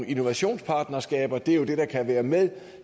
innovationspartnerskaber det er jo det der kan være med